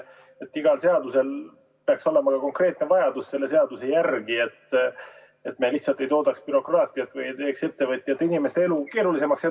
Iga seaduse puhul peaks olema ju ka konkreetne vajadus selle seaduse järele, et me lihtsalt ei toodaks bürokraatiat või ei teeks ettevõtjate ja inimeste elu keerulisemaks.